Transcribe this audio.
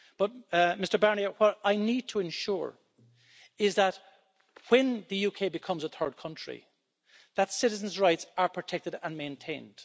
But, Mr Barnier, what I need to ensure is that when the UK becomes a third country, that citizens' rights are protected and maintained.